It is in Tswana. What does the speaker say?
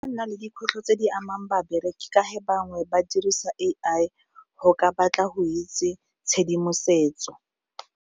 Nna le dikgwetlho tse di amang babereki ka ge bangwe ba dirisa A_I go ka batla go itse tshedimosetso.